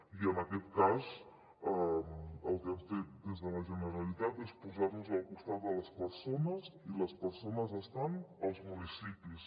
i en aquest cas el que hem fet des de la generalitat és posar nos al costat de les persones i les persones estan als municipis